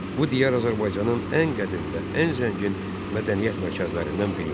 Bu diyar Azərbaycanın ən qədim və ən zəngin mədəniyyət mərkəzlərindən biridir.